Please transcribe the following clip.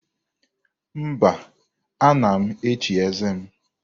Mba, ana m echi eze m.